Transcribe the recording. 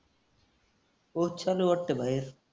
पाऊस चालू आहे वाटतं बाहेर.